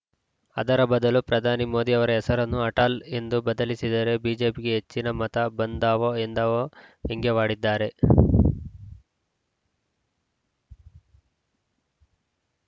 ಅದರ ಬದಲು ಪ್ರಧಾನಿ ಮೋದಿ ಅವರ ಹೆಸರನ್ನು ಅಟಲ್‌ ಎಂದು ಬದಲಿಸಿದರೆ ಬಿಜೆಪಿಗೆ ಹೆಚ್ಚಿನ ಮತ ಬಂದಾವು ಎಂದಾವು ವ್ಯಂಗ್ಯವಾಡಿದ್ದಾರೆ